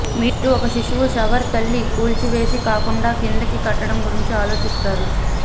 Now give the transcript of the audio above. మీరు ఒక శిశువు షవర్ తల్లి కూల్చివేసి కాకుండా కిందికి కట్టడం గురించి ఆలోచిస్తారు